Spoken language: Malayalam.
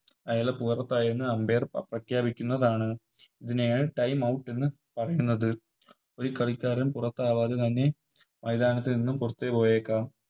അയാൾ പുറത്തായെന്ന് Umpire പ്രഖ്യപിക്കുന്നതാണ് ഇതിനെയാണ് Timeout എന്ന് പറയുന്നത് ഒരു കളിക്കാരൻ പുറത്താകാതെ തന്നേ മൈതാനത്തുനിന്നും പുറത്ത് പോയേക്കാം